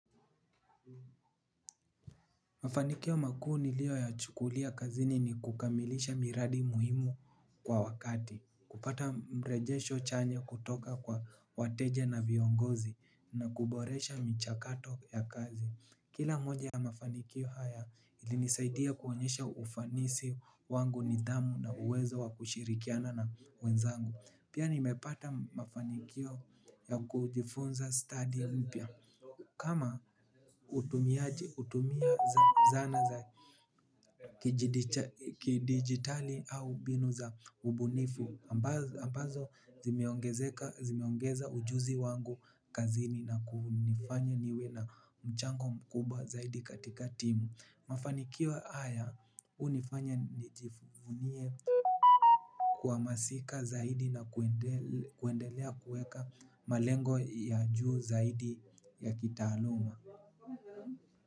Mafanikio makuu niliyo yachukulia kazini ni kukamilisha miradi muhimu kwa wakati. Kupata mrejesho chanya kutoka kwa wateja na viongozi na kuboresha michakato ya kazi. Kila moja ya mafanikio haya ilinisaidia kuonyesha ufanisi wangu, nidhamu na uwezo wa kushirikiana na wenzangu. Pia nimepata mafanikio ya kujifunza stadi mpya. Kama utumia zana za kidigitali au binu za ubunifu ambazo zimeongeza ujuzi wangu kazini na kunifanya niwe na mchango mkubwa zaidi katika timu. Mafanikio haya unifanya nijifunie kwa masika zaidi naku kuendelea kueka malengo ya juu zaidi ya kitaaluma.